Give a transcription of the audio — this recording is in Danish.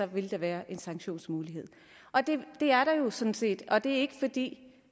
vil der være en sanktionsmulighed det er der jo sådan set og det er ikke fordi